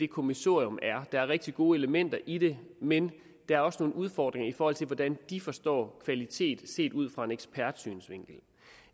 kommissorium er der er rigtig gode elementer i det men der er også nogle udfordringer i forhold til hvordan de forstår kvalitet set ud fra en ekspertsynsvinkel